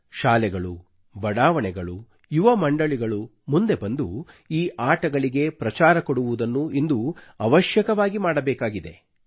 ಶಾಲೆಗಳು ಬಡಾವಣೆಗಳು ಯುವಮಂಡಳಿಗಳು ಮುಂದೆ ಬಂದು ಈ ಆಟಗಳಿಗೆ ಪ್ರಚಾರ ಕೊಡುವುದನ್ನು ಇಂದು ಅವಶ್ಯಕವಾಗಿ ಮಾಡಬೇಕಾಗಿದೆ